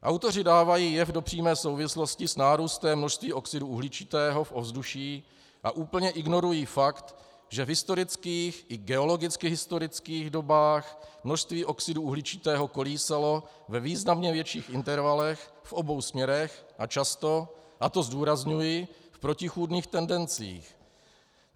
Autoři dávají jev do přímé souvislosti s nárůstem množství oxidu uhličitého v ovzduší a úplně ignorují fakt, že v historických, i geologicky historických dobách množství oxidu uhličitého kolísalo ve významně větších intervalech v obou směrech a často, a to zdůrazňuji, v protichůdných tendencích.